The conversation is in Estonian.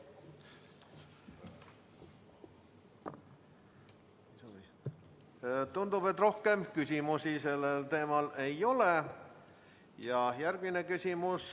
Tundub, et rohkem küsimusi sellel teemal ei ole.